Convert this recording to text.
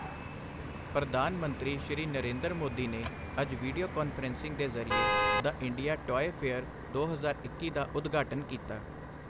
ਪ੍ਰਧਾਨ ਮੰਤਰੀ ਸ਼੍ਰੀ ਨਰਿੰਦਰ ਮੋਦੀ ਨੇ ਅੱਜ ਵੀਡੀਓ ਕਾਨਫ਼ਰੰਸਿੰਗ ਦੇ ਜ਼ਰੀਏ ਦ ਇੰਡੀਆ ਟੌਆਏ ਫੇਅਰ ਦੋ ਹਜ਼ਾਰ ਇੱਕੀ ਦਾ ਉਦਘਾਟਨ ਕੀਤਾ।